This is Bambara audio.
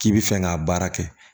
K'i bi fɛ k'a baara kɛ